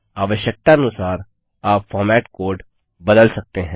आवश्यकतानुसार आप format code बदल सकते हैं